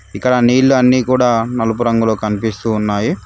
ఇక్కడ నీళ్ళు అన్నీ కూడా నలుపు రంగులో కన్పిస్తూ ఉన్నాయి.